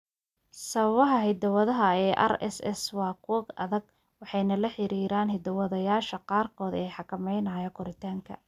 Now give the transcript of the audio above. Sababaha hidaha ee RSS waa kuwo adag waxayna la xiriiraan hiddo-sideyaasha qaarkood ee xakameynaya koritaanka.